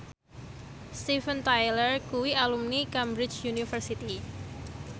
Steven Tyler kuwi alumni Cambridge University